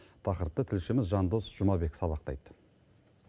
тақырыпты тілшіміз жандос жұмабек сабақтайды